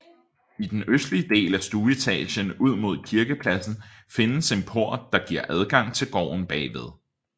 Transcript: I den østligste del af stueetagen ud mod kirkepladsen findes en port der giver adgang til gården bagved